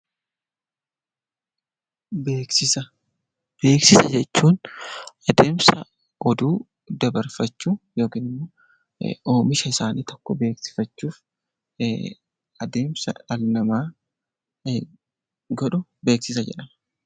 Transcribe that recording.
Beeksisa Beeksisa jechuun adeemsa oduu dabarfachuu yookiin immoo oomisha isaanii tokko beeksifachuuf adeemsa dhalli namaa godhu 'Beeksisa' jedhama.